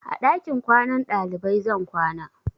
A ɗakin kwanan ɗalibai zan kwana.